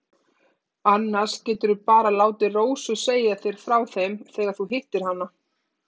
Annars geturðu bara látið Rósu segja þér frá þeim þegar þú hittir hana.